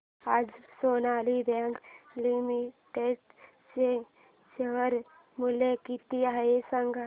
आज Sonali bank limited चे share मूल्य किती आहे सांगा